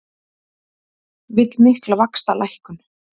Vill mikla vaxtalækkun